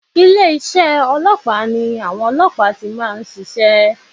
Ilé isé ọlọ́pàá ni àwọn ọlọ́pàá ti máa nsisé